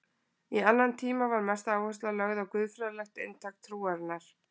Í annan tíma var mest áhersla lögð á guðfræðilegt inntak trúarinnar.